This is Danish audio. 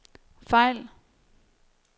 fejl